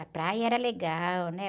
A praia era legal, né?